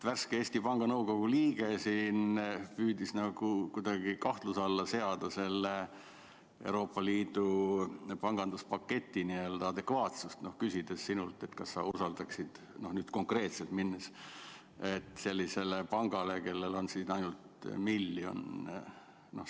Värske Eesti Panga Nõukogu liige püüdis siin kuidagi kahtluse alla seada Euroopa Liidu panganduspaketi adekvaatsust, küsides sinult, kas sa usaldaksid oma raha konkreetselt sellisele pangale, kellel on ainult 1 miljon eurot.